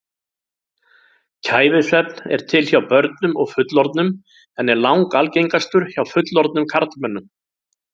Kæfisvefn er til hjá börnum og fullorðnum en er langalgengastur hjá fullorðnum karlmönnum.